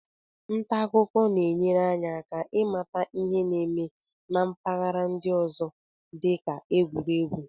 Nta akụkọ na-enyere anyị aka ịmata ihe na-eme na mpaghara ndị ọzọ dị ka egwuregwu.